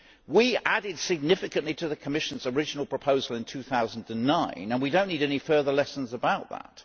We added significantly to the Commission's original proposal in 2009, and we do not need any further lessons about that.